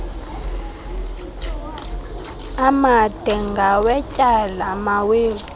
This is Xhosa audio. amade ngawetyala mawethu